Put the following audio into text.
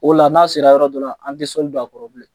O la n'a sera yɔrɔ dɔ la, an te sɔli don a kɔrɔ bilen.